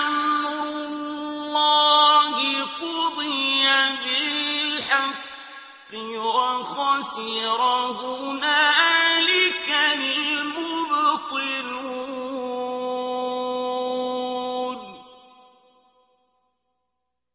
أَمْرُ اللَّهِ قُضِيَ بِالْحَقِّ وَخَسِرَ هُنَالِكَ الْمُبْطِلُونَ